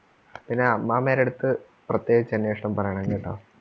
പിന്നെ അമ്മാമ്മേടെ അടുത്ത് പ്രത്യേകിച്ച് അന്വേഷണം പറയണം കേട്ടോ.